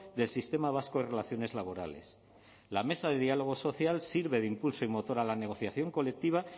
del sistema vasco de relaciones laborales la mesa de diálogo social sirve de impulso y motor a la negociación colectiva